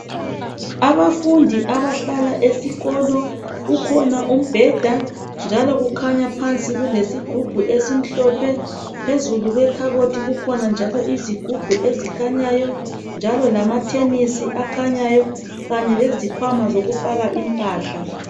Abafundi abahlala esikolo kukhona umbheda njalo kukhanya phansi kulesigubhu esimhlophe phezulu kwekhabothi kukhona njalo izigubhu ezikhanyayo njalo lamathenisi akhanyayo kanye lezikhwama zokufaka impahla.